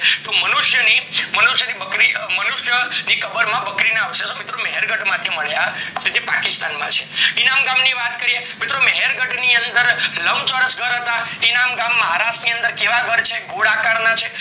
તો મનુષ્યની કબર ની બકરી, મનુષ્ય ની કબર માં બકરી ના અવશેષો મિત્રો મહેર્ગઢ માં મળ્યા છે જે પાકિસ્તાન માં હે ઇરમ ગામ ની વાત કરીએ મિત્ર મહેર ગઢ ની અંદર લંબચોરસ ઘર હતા ઇરમ ગામ મહારાષ્ટ્ર માં કેવા ઘર છે ગોળ આકાર ના છે